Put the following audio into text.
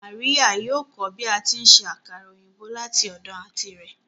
Maria yóò kọ bi ati nse akara oyinbo lati ọdọ anti rẹ